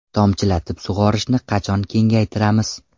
Tomchilatib sug‘orishni qachon kengaytiramiz?